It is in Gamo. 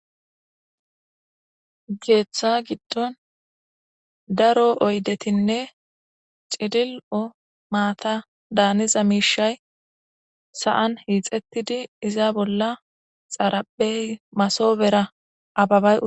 Ha keeththa gido daro oyetinne cilil'o maata daaniza miishay sa'an hiixetidi iza bolla xaraphe masobera ababay utis.